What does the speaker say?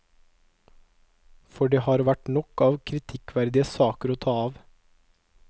For det har vært nok av kritikkverdige saker å ta av.